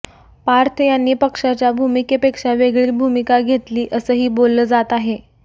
पार्थ यांनी पक्षाच्या भूमिकेपेक्षा वेगळी भूमिका घेतली असंही बोललं जात आहे